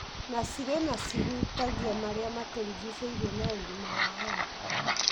na cirĩ na cihutagia marĩa matũrigicĩirie na ũgima wa andũ.